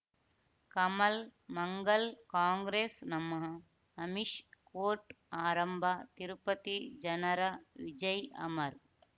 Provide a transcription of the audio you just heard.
ಕಮಲ್ ಮಂಗಳ್ ಕಾಂಗ್ರೆಸ್ ನಮಃ ಅಮಿಷ್ ಕೋರ್ಟ್ ಆರಂಭ ತಿರುಪತಿ ಜನರ ವಿಜಯ್ ಅಮರ್